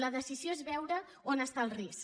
la decisió és veure on està el risc